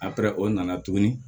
o nana tuguni